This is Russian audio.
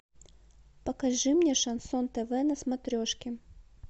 покажи мне шансон тв на смотрешки